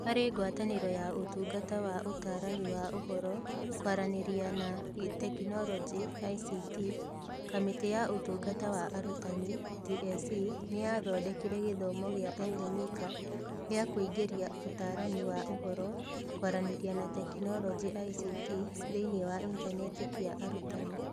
Harĩ ngwataniro na Ũtungata wa Ũtaarani wa Ũhoro, Kwaranĩria na Teknoroji (ICT), Kamĩtĩ ya Ũtungata wa Arutani (TSC) nĩ yathondekire gĩthomo gĩa Elimika gĩa kũingĩria Ũtaarani wa Ũhoro, Kwaranĩria na Teknoroji (ICT) thĩinĩ wa intaneti kĩa arutani,